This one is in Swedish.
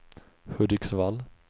Hudiksvall